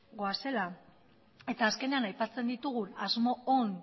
goazela eta azkenean aipatzen ditugun asmo on